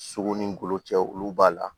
Sogo ni golo cɛ olu b'a la